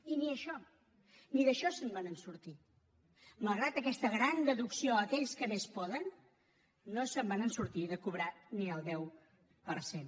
i ni això ni d’això se’n van sortir malgrat aquesta gran deducció a aquells que més poden no se’n van sortir de cobrar ni el deu per cent